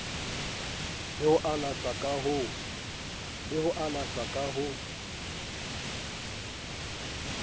le ho alashwa ka ho